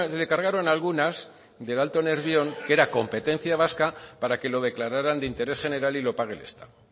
le cargaron algunas del alto nervión que era competencia vasca para que lo declararan de interés general y lo pague el estado